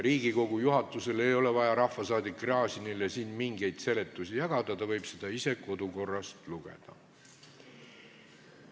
Riigikogu juhatusel ei ole vaja rahvasaadik Gräzinile siin mingeid selgitusi jagada, ta võib seda kõike ise kodukorrast lugeda.